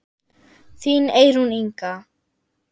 Þín Eyrún Inga.